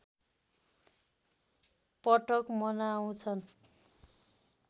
पटक मनाउँछन्